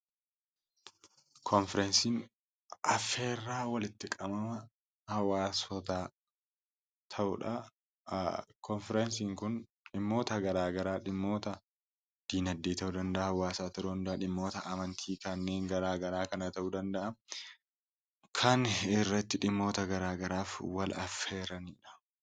Konfireensiin affeerraa walitti qabama hawwaasotaa ta'udha. Koonfireensiin kun dhimmoota garaa garaa dhimmoota dinagdee ta'uu ni danda'a, dhimmoota amantii kanneen garaa garaa ta'uu ni danda'a. Kan irratti dhimmoota garaa garaaf wal affeeranidha.